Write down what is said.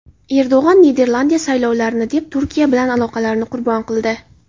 Erdo‘g‘on: Niderlandiya saylovlarni deb Turkiya bilan aloqalarini qurbon qildi.